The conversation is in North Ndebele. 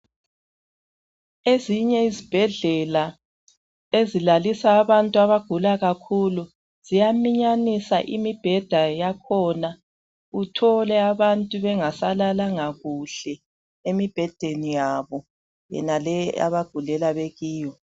Ezinye izibhedlela ezilapha abantu abagula kakhulu ziyaminyanisa imibheda yakhona uthole abantu bengasalalanga kuhle emibhedeni yabo abagulela bekiyo.